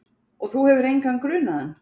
Og þú hefur engan grunaðan?